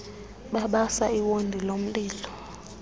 babasa iwondi lomlilo